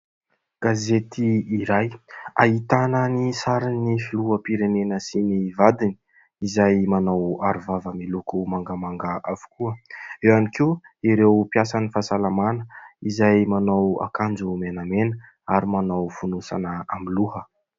Gazety iray ahitana ny sarin'ny filoham-pirenena sy ny vadiny izay manao arovava miloko mangamanga avokoa. Eo ihany koa ireo mpiasan'ny fahasalamana izay manao akanjo menamena ary manao fonosana amin'ny loha.